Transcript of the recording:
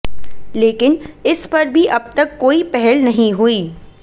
लेकिन इस पर भी अब तक कोई पहल नहीं हुई